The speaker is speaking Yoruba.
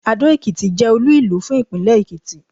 Adó-Ekìtì jẹ́ olú ìlú fún ìpínlẹ̀ Èkìtì